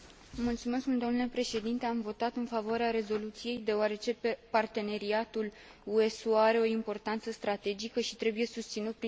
Am votat în favoarea rezoluției, deoarece parteneriatul UE SUA are o importanță strategică și trebuie susținut printr o agendă ambițioasă.